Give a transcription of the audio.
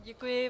Děkuji.